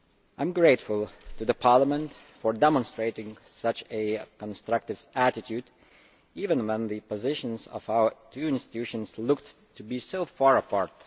I am grateful to Parliament for demonstrating such a constructive attitude, even when the positions of our two institutions looked to be so far apart.